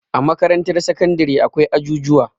a makarantar sakandare akwai ajujuwa